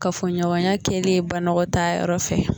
Kafɔɲɔgɔnya kɛlen banakɔtaa yɔrɔ fɛ